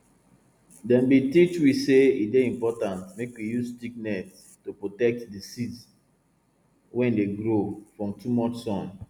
dem bin teach we say e dey important make we use thick net to protect di seeds wey dey grow from too much sun